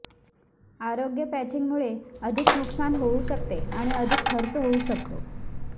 अयोग्य पॅचिंगमुळे अधिक नुकसान होऊ शकते आणि अधिक खर्च होऊ शकतो